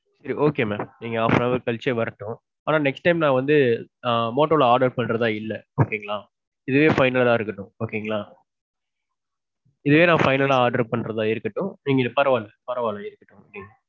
Okay mam. நீங்க half an hour கழிச்சே வரட்டும். ஆனா next time நான் வந்து ஆ motto ல order பண்றதா இல்ல. Okay ங்களா இதே final ஆ இருக்கட்டும். Okay ங்களா இதே நான் final ஆ order பன்றதா இருக்கட்டும். நீங்க இது. பரவா இல்ல பரவா இல்ல இருக்கட்டும்.